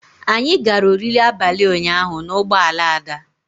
Anyị gara oriri abalị ụnyaahụ na ụgbọ ala Ada.